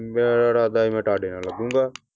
ਮੇਰੇ ਇਰਾਦਾ ਸੀ ਮੈਂ ਤੁਹਾਡੇ ਨਾਲ ਲੱਗੂਗਾ।